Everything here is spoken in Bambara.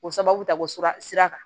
O sababu ta ko sira sira kan